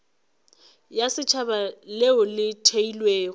ya setšhaba leo le theilwego